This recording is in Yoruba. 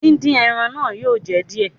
Dín dín ẹran náà yóò jẹ díẹ̀.